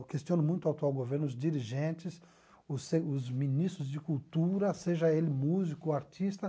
Eu questiono muito o atual governo, os dirigentes, os se os ministros de cultura, seja ele músico, artista.